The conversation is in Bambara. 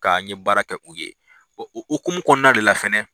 Ka n ye baara kɛ u ye, o hokumu kɔnɔna de fɛnɛ